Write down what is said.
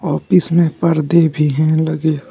Office में पर्दे भी हैं लगे।